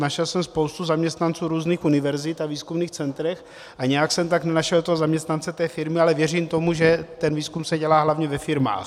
Našel jsem spoustu zaměstnanců různých univerzit a výzkumných center a nějak jsem tam nenašel toho zaměstnance té firmy, ale věřím tomu, že ten výzkum se dělá hlavně ve firmách.